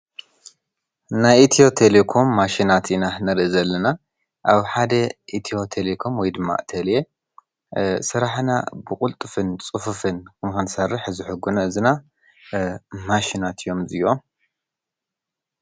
ናይ ኢትዮ ቴሌኮም ማሽናት ኢና ንርኢ ዘለና። ኣብ ሓደ ኢትዮ ቴሌኮም ወይ ድማ ቴሌ ስራሕና ብቕልጡፍን ፁፍፍን ንኽንሰርሕ ዝሕግዙና ማሽናት እዮም እዚዮም።